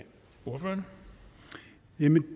noget man